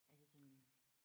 Er det sådan